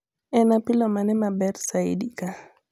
en apilo mane maber saidi ka